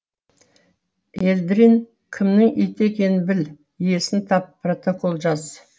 елдрин кімнің иті екенін біл иесін тап протокол жаз